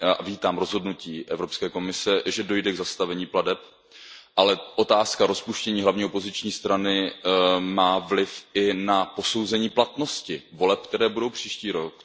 Vítám rozhodnutí Evropské komise, že dojde k zastavení plateb, ale otázka rozpuštění hlavní opoziční strany má vliv i na posouzení platnosti voleb, které budou příští rok.